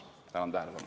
Tänan tähelepanu eest!